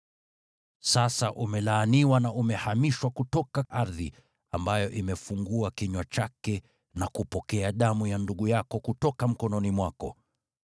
Sasa umelaaniwa na umehamishwa kutoka ardhi, ambayo imefungua kinywa chake na kupokea damu ya ndugu yako kutoka mkononi mwako.